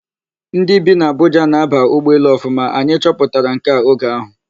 Ndị bi n'Abuja na-aba ụgbọelu Ọfụma, anyị chọpụtara nke a oge ahụ.